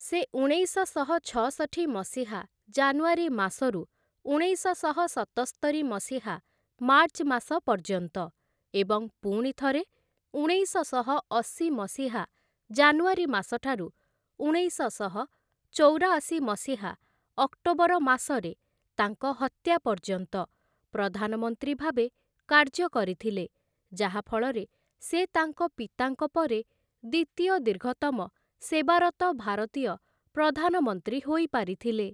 ସେ ଉଣେଇଶଶହ ଛଅଷଠି ମସିହା ଜାନୁଆରୀ ମାସରୁ ଉଣେଇଶଶହ ସତସ୍ତରି ମସିହା ମାର୍ଚ୍ଚ ମାସ ପର୍ଯ୍ୟନ୍ତ ଏବଂ ପୁଣି ଥରେ ଉଣେଇଶଶହ ଅଶି ମସିହା ଜାନୁଆରୀ ମାସଠାରୁ ଉଣେଇଶଶହ ଚଉରାଶି ମସିହା ଅକ୍ଟୋବର ମାସରେ ତାଙ୍କ ହତ୍ୟା ପର୍ଯ୍ୟନ୍ତ ପ୍ରଧାନମନ୍ତ୍ରୀ ଭାବେ କାର୍ଯ୍ୟ କରିଥିଲେ, ଯାହାଫଳରେ ସେ ତାଙ୍କ ପିତାଙ୍କ ପରେ ଦ୍ୱିତୀୟ ଦୀର୍ଘତମ ସେବାରତ ଭାରତୀୟ ପ୍ରଧାନମନ୍ତ୍ରୀ ହୋଇ ପାରିଥିଲେ ।